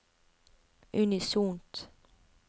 unisont